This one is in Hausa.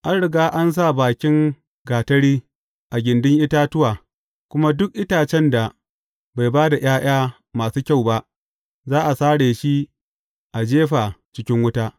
An riga an sa bakin gatari a gindin itatuwa, kuma duk itacen da bai ba da ’ya’ya masu kyau ba, za a sare shi a jefa cikin wuta.